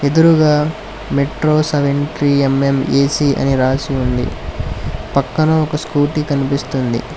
ఎదురుగా metro seventy M M A C అని రాసి ఉంది పక్కన ఒక స్కూటీ కనిపిస్తుంది.